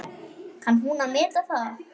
Kann hún að meta það?